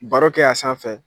Baro kɛ a sanfɛ fɛ!